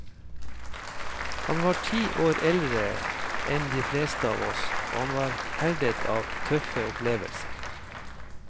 Han var ti år eldre enn de fleste av oss, og han var herdet av tøffe opplevelser.